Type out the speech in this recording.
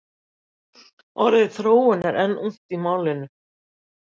orðið þróun er einnig ungt í málinu